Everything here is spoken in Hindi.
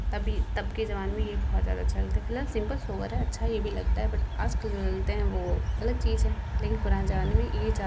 तभी तब के जमाने में ये बहोत ज्यादा चलते प्लस सिंपल सोबर है अच्छा यह भी लगता है बट आजकल के जो चलते हैं वो अलग चीज है लेकिन पुराने जमाने में ये ज्यादा --